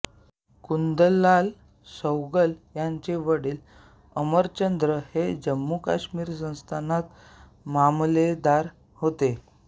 कुंदनलाल सैगल यांचे वडील अमरचंद हे जम्मूकाश्मीर संस्थानात मामलेदार होते